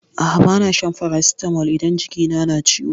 A'a bana shan farasitamol idan jiki na na ciwo.